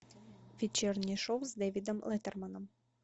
вечернее шоу с дэвидом леттерманом